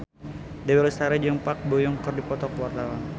Dewi Lestari jeung Park Bo Yung keur dipoto ku wartawan